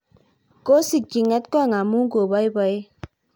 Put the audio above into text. kosikchi ng'etkong' amu ko boiboen